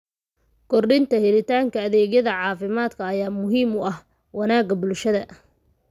Kordhinta helitaanka adeegyada caafimaadka ayaa muhiim u ah wanaagga bulshada.